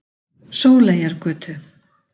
Sóleyjargötu